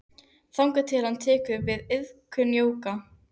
Þangað til að hann tekur til við iðkun jóga.